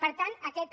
per tant aquesta